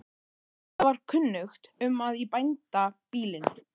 Auðvitað var kunnugt um að í bændabýlinu